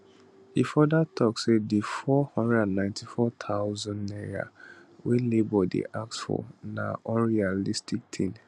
e further tok say di 494000 naira wey labour dey ask for na unrealistic tin